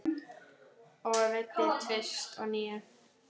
Og veiddi tvist og NÍU.